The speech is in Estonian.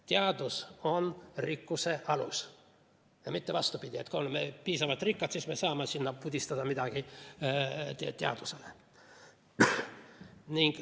Teadus on rikkuse alus ja mitte vastupidi, et kui oleme piisavalt rikkad, siis me saame pudistada midagi teadusele.